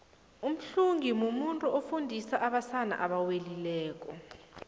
umxhungi mumuntu ofundisa abasana abewelileko